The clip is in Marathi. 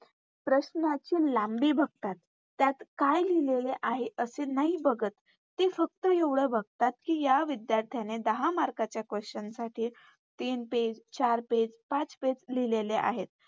प्रश्नांची लांबी बघतात त्यात काय लिहलेलं आहे असं नाही बघत. ते फक्त एवढ बघतात कि या विधायर्थ्याने दहा Mark च्या Question साठी तीन Page चार Page पाच Page लिहलेले आहेत.